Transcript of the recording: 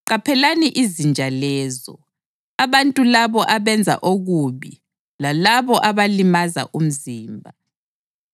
Qaphelani izinja lezo, abantu labo abenza okubi lalabo abalimaza umzimba.